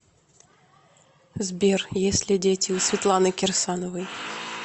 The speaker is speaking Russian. сбер есть ли дети у светланы кирсановой